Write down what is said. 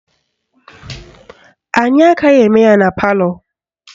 Anyị agaghị eme ya na palọ